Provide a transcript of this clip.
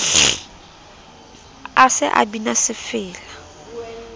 a se a bina sefela